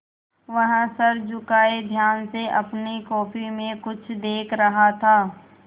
वह सर झुकाये ध्यान से अपनी कॉपी में कुछ देख रहा था